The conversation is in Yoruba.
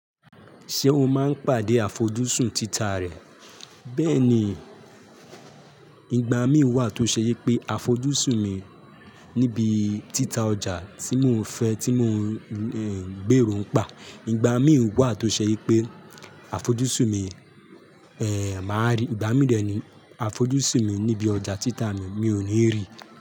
Ṣé o máa ń pàdé àfojúsùn títà rẹ? Bẹ́ẹ̀ni, ìgbà mí wà tó ṣe yí pé àfojúsùn mi níbi títà ọjà tí mò ń fẹ́, tí mò ń gbèrò ń pa. Ìgbà mí wà tó ṣe yí pé àfojúsùn mi, èè máa rí, ìgbà mí dẹ̀ ní àfojúsùn mi níbi ọjà títà mi, mi ò ní ríi.